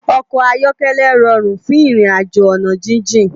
Òkò áyòkèlè ròrún fún irinàjó òná jijin